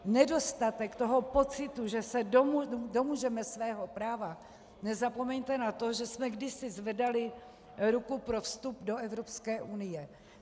Nedostatek toho pocitu, že se domůžeme svého práva - nezapomeňte na to, že jsme kdysi zvedali ruku pro vstup do Evropské unie.